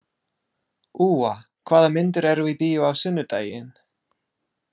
Úa, hvaða myndir eru í bíó á sunnudaginn?